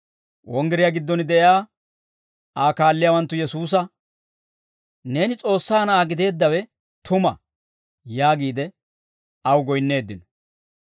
Wonggiriyaa giddon de'iyaa Aa kaalliyaawanttu Yesuusa, «Neeni S'oossaa Na'aa gideeddawe tuma» yaagiide aw goyinneeddino.